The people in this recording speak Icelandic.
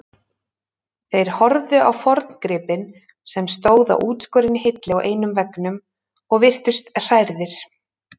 Þeir horfðu á forngripinn sem stóð á útskorinni hillu á einum veggnum og virtust hrærðir.